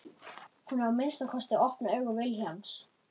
Hún á að minnsta kosti að opna augu Vilhjálms.